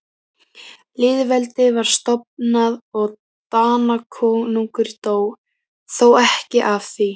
Lýðveldið var stofnað og Danakonungur dó, þó ekki af því.